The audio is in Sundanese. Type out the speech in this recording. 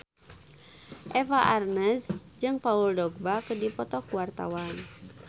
Eva Arnaz jeung Paul Dogba keur dipoto ku wartawan